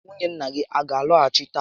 Nwunye nna gị a gá alọghachi tata?